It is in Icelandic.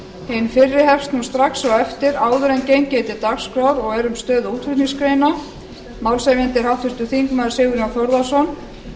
hin fyrri hefst strax á eftir áður en gengið er til dagskrár og er um stöðu útflutningsgreina málshefjandi er háttvirtur þingmaður sigurjón þórðarson